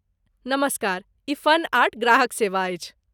नमस्कार, ई Fun Art ग्राहक सेवा अछि।